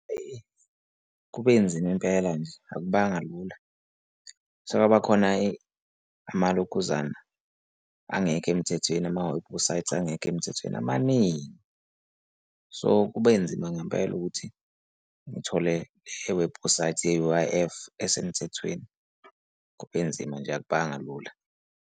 Kube nzima impela nje akubanga lula. Sekwaba khona amalokhuzana angekho emthethweni, amawebhusayithi angekho emthethweni amaningi. So, kube nzima ngempela ukuthi ngithole iwebhusayithi ye-U_I_F esemthethweni, kube nzima nje akubanga lula.